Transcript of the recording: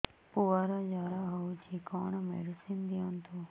ପୁଅର ଜର ହଉଛି କଣ ମେଡିସିନ ଦିଅନ୍ତୁ